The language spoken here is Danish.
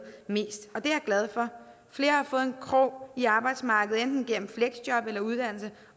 mest og det er jeg glad for flere har fået en krog i arbejdsmarkedet enten gennem fleksjob eller gennem uddannelse